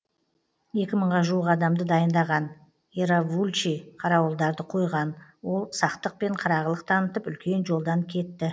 екі мыңға жуық адамды дайындаған иравулчи қарауылдарды қойған ол сақтық пен қырағылық танытып үлкен жолдан кетті